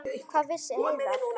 Hvað vissi Heiða?